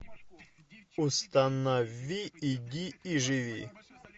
установи иди и живи